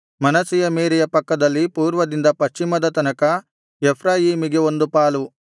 ಮನಸ್ಸೆಯ ಮೇರೆಯ ಪಕ್ಕದಲ್ಲಿ ಪೂರ್ವದಿಂದ ಪಶ್ಚಿಮದ ತನಕ ಎಫ್ರಾಯೀಮಿಗೆ ಒಂದು ಪಾಲು